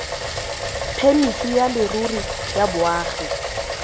phemiti ya leruri ya boagi